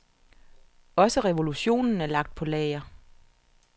Også revolutionen er lagt på lager.